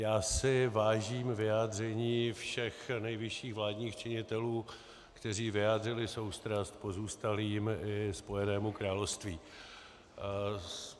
Já si vážím vyjádření všech nejvyšších vládních činitelů, kteří vyjádřili soustrast pozůstalým i Spojenému království.